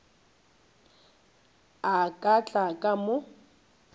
a ka tla ka mo